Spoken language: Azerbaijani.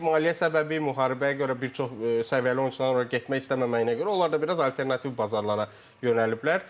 İndi maliyyə səbəbi, müharibəyə görə bir çox səviyyəli oyunçuların ora getmək istəməməyinə görə, onlar da biraz alternativ bazarlara yönəliblər.